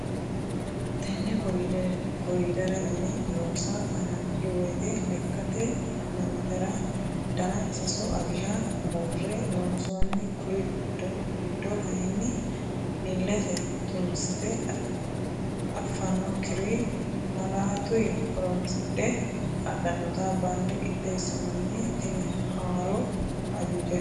Tene kordere yine loosa hananfi woyte lekkate ha'nannitera dana sasu aliha buure loonsonni kuri giddo kayinni ilete xunsite affanokkiri maalatuyi horonsidhe hadhannotta bande qixxeesinoni tini haaro ajujati.